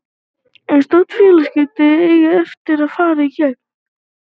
En stór félagsskipti eiga eftir að fara í gegn.